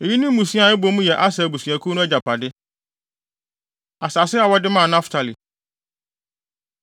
Eyi ne mmusua a ɛbɔ mu yɛ Aser abusuakuw no agyapade. Asase A Wɔde Maa Naftali